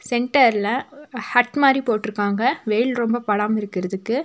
சென்டர்ல ஒ ஹட் மாரி போட்ருக்காங்க வெயில் ரொம்ப படாம இருக்குறதுக்கு.